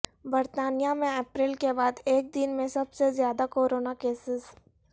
برطانیہ میں اپریل کے بعد ایک دن میں سب سے زیادہ کورونا کیسز